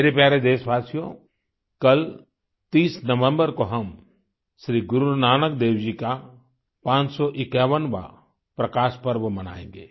मेरे प्यारे देशवासियो कल 30 नवंबर को हम श्री गुरु नानक देव जी का 551वाँ प्रकाश पर्व मनाएंगे